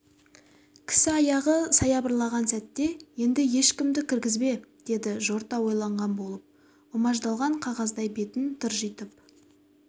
кісі аяғы саябырлаған сәтте енді ешкімді кіргізбе деді жорта ойланған болып ұмаждалған қағаздай бетін тыржитып